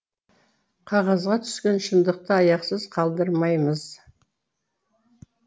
қағазға түскен шындықты аяқсыз қалдырмаймыз